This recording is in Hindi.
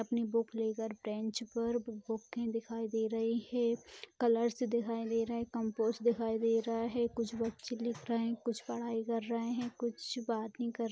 अपनी बुक लेकर बेंच पर दिखाई दे रहे हैं कलर्स दिखाई दे रहे हैं कंपास दिखाई दे रहे हैं कुछ बच्चे लिख रहे हैं कुछ पढ़ाई कर रहे हैं कुछ बातें कर रहे हैं।